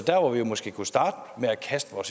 og at